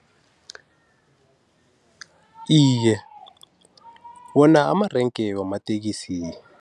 Iye, wona amarenke wamatekisi.